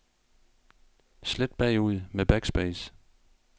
Slet bagud med backspace.